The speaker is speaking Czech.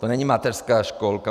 To není mateřská školka.